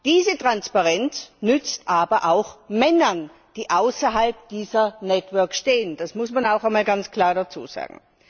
Diese Transparenz nützt aber auch Männern, die außerhalb dieser networks stehen, das muss man auch einmal ganz klar dazusagen.